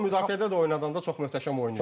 Amma müdafiədə də oynadanda çox möhtəşəm oynayır.